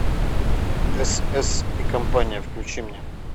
эс эс и компания включи мне